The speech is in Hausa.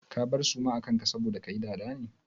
Ka bar suma a kan ka saboda kayi dada ne?